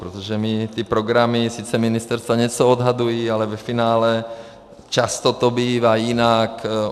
Protože my ty programy, sice ministerstva něco odhadují, ale ve finále často to bývá jinak.